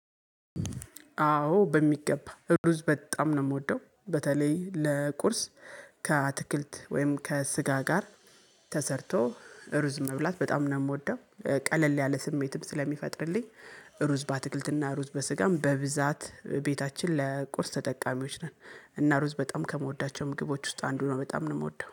አዎ በሚገባ፤ ሩዝ በጣም ነው የምወደው። በተለይ ለቁርስ ከአትክልት ወይም ከስጋ ጋር፤ ተሰርቶ እሩዝ መብላት በጣም ነው የምወደው። ቀለል ያለ ስሜትም ስለሚፈጥርልኝ፤ ሩዝ በአትክልትና ሩዝ በስጋም በብዛት ቤታችን ለቁርስ ተጠቃሚዎች ነን። እና ሩዝ በጣም ከምወዳቸው ምግቦች ውስጥ አንዱ ነው። በጣም ነው የምወደው።